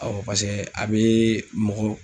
a be mɔgɔ